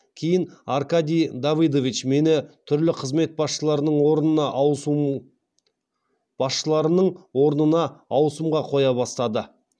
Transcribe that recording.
кейін аркадий давыдович мені түрлі қызмет басшыларының орнына ауысымға қоя бастады